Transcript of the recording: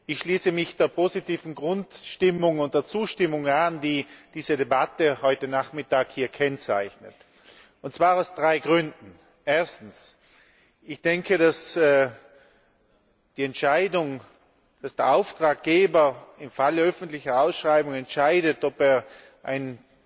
Ich schließe mich der positiven Grundstimmung und der Zustimmung an, die diese Debatte heute Nachmittag hier kennzeichnet und zwar aus drei Gründen. Erstens Ich denke, dass die Entscheidung, dass der Auftraggeber im Falle öffentlicher Ausschreibung entscheidet, ob er ein